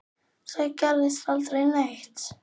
Þar gerist aldrei neitt.